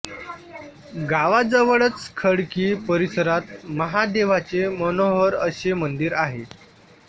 गावाजवळच खडकी परिसरात महादेवाचे मनोहर असे मंदिर आहे